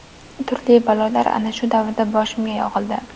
Turli balolar ana shu davrda boshimga yog‘ildi.